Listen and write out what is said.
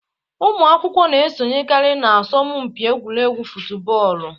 Ụmụ akwụkwọ na esonyekari na asọmụ mpi egwuregwu futubọọlụ